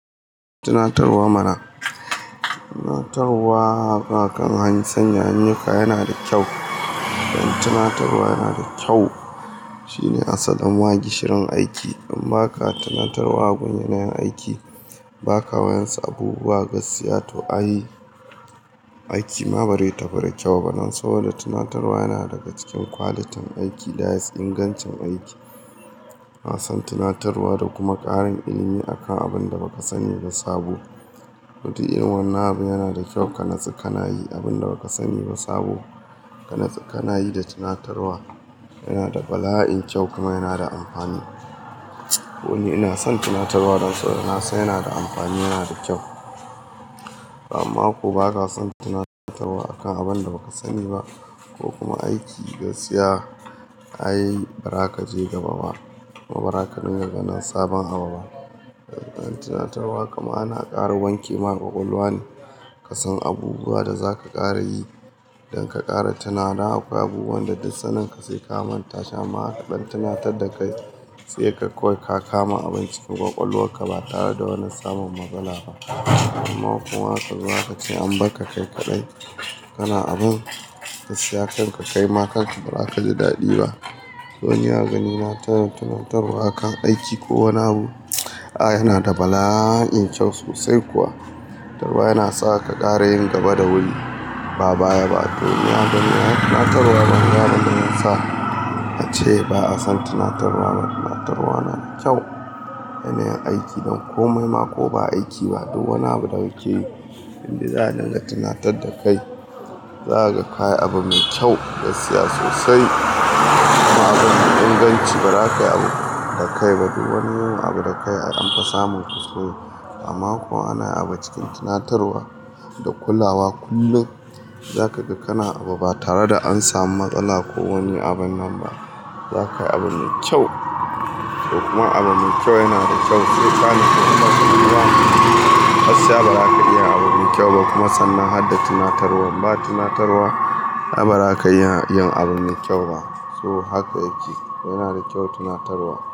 Tunatarwa mana. Tunatarwa akan hanyoyin sanya ayyuka yana da kyau. Tunatarwa yana da kyau shine asalin ma gishirin aiki. In ba ka tunatarwa gun yanayin aiki, ba ka wayansu abubuwa gaskiya to ai aiki ma bari ta fi rakyau ba ma. Saboda tunatarwa yana daga cikin kwalitin aiki that is ingancin aiki. Na san tunatarwa da kuma ƙarin ilimi akan abin da baka sani ba sabo. Duk irin wannan abu yana da kyau kanatsu kana yi abin da baka sani ba sabo. Kanatsu kana yi da tunatarwa yana da bala'in kyau kuma yana da amfani. To ni ina son tunatarwa don saboda nasan yana da da amfani yana da kyau. Amma ko baka son tunatarwa akan abin da baka sani ba ko kuma aiki gaskiya ai bara kaje gaba ba. Kuma baraka ringa ganin sabon abu ba. Tunatarwa kuma ana ƙara wanke ma ƙwaƙwalwa ne. Ka san abubuwa da zaka ƙara yi, don ka ƙara tunawa dan akwai abubuwan da duk sanin ka sai ka manta shi amma aka ɗan tunatar da kai sai kaga kawai ka kama abun cikin ƙwaƙwalwar ka ba tare da wani samun matsala ba. Amma kuwa aka zo aka ce an bakka kai kaɗai kana abun gaskiya kan ka kai ma kanka ba raka ji daɗi ba. To ni a ganina tunatarwa akan aiki ko wani abu, a yana da bala'in kyau sosai kuwa. To ba yana sa ka ƙara yin gaba da wuri. Ba baya ba. To ni a ganina tunatarwa banga zai sa ace ba'a son tunatarwa ba. Tunatarwa yana da kyau a yanayin aiki don komai ma ko ba aiki ba duk wani abu da kake yi, in dai za'a dinga tunatar da kai, zakaga kayi abu mai kyau gaskiya sosai. Ma abun mai inganci ba rakayi abu da kai ba duk wani yawan abu da kai aka a samun kusurwa. Amma kuwa ana abu cikin tunatarwa da kulawa kullun, zaka ga kana abu ba tare da an samu matsala ko wani abin nan ba. Zakai abun me kyau. Kuma abu me kyau yana da kyau. Sai ka natsu kuma tunatarwa gaskiya baza ka iya abun me kyau ba kuma sannan hadda tunatarwa. Ba tunatarwa ai baza ka iya yin abun me kyau ba. To haka yake. Yana da kyau tunatarwa.